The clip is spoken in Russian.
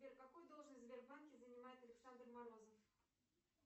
сбер какую должность в сбербанке занимает александр морозов